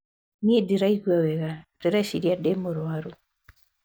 Niĩ ndiraigua wega ndĩreciria ndĩ mũrwaru.